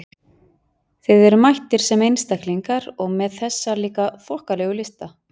Þið eruð mættir sem einstaklingar- og með þessa líka þokkalegu lista!